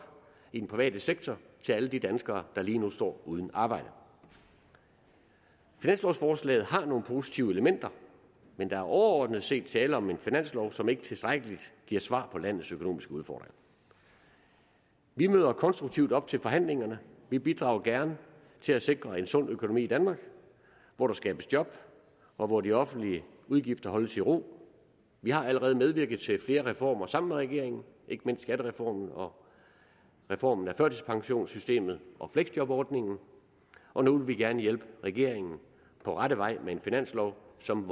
i den private sektor til alle de danskere der lige nu står uden arbejde finanslovforslaget har nogle positive elementer men der er overordnet set tale om en finanslov som ikke tilstrækkeligt giver svar på landets økonomiske udfordringer vi møder konstruktive op til forhandlingerne vi bidrager gerne til at sikre en sund økonomi i danmark hvor der skabes job og hvor de offentlige udgifter holdes i ro vi har allerede medvirket til flere reformer sammen med regeringen ikke mindst skattereformen og reformen af førtidspensionssystemet og fleksjobordningen og nu vil vi gerne hjælpe regeringen på rette vej med en finanslov som